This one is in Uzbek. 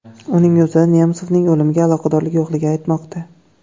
Uning o‘zi Nemsovning o‘limiga aloqadorligi yo‘qligini aytmoqda.